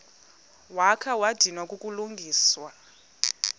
wakha wadinwa kukulungisa